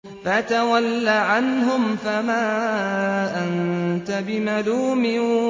فَتَوَلَّ عَنْهُمْ فَمَا أَنتَ بِمَلُومٍ